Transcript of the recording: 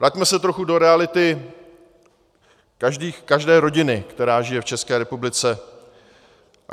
Vraťme se trochu do reality každé rodiny, která žije v České republice.